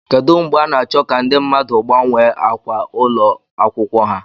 Kedu mgbe a na-achọ ka ndị mmadụ gbanwee ákwà ụlọ akwụkwọ ha?